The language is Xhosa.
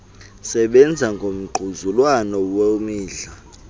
sebenza ngongquzulwano lwemidla